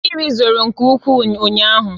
Mmiri zoro nke ukwuu ụnyaahụ